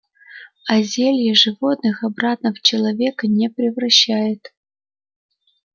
а зелье животных обратно в человека не превращает